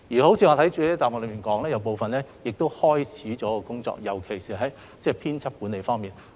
我已在主體答覆表明，部分跟進工作已經展開，尤其是在編輯管理方面。